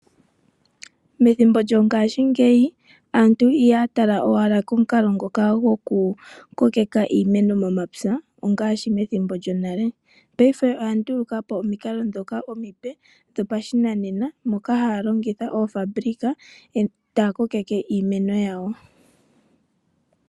Methimbo lyongashingeyi aantu ihaya tala owala komukalo ngoka goku kokeka iimeno momapya ngaashi methimbo lyonale, payife oyanduluka po omikalo ngoka omipe dhopashinanena ngoka haya longitha oofabulika e taya kokeke iimeno yawo.